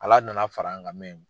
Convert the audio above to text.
Ala nana far'an kan